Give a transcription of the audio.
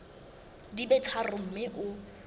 di be tharo mme o